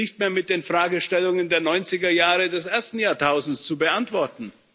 Es ist nicht mehr mit den Fragestellungen der 90er Jahre des ersten Jahrtausends zu beantworten.